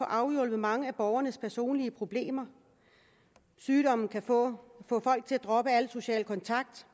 afhjulpet mange af borgernes personlige problemer sygdommen kan få folk til at droppe al social kontakt